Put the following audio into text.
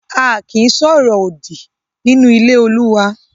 A kì í sọ ọ̀rọ̀ òdì nínú ilé Olúwa